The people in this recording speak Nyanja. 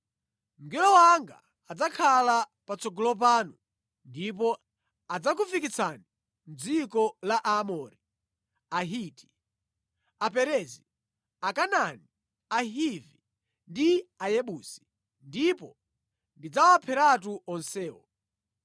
Mngelo wanga adzakhala patsogolo panu ndipo adzakufikitsani mʼdziko la Aamori, Ahiti, Aperezi, Akanaani, Ahivi ndi Ayebusi, ndipo ndidzawapheratu onsewo.